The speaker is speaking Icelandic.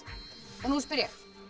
og nú spyr ég